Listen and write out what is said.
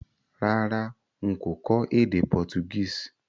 Rárá, n kò kó édé Portuguese